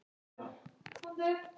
Björn var kominn.